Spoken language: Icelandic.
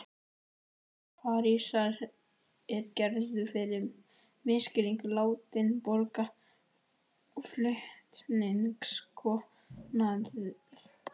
Parísar er Gerður fyrir misskilning látin borga flutningskostnað.